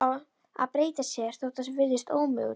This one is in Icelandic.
Að breyta sér, þótt það virðist ómögulegt.